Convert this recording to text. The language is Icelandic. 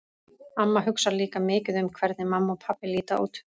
Amma hugsar líka mikið um hvernig mamma og pabbi líta út.